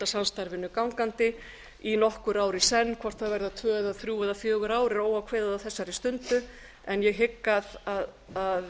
samstarfinu gangandi í nokkru ár í senn hvort það verða tvö eða þrjú eða fjögur ár er óákveðið á þessari stundu en ég hygg að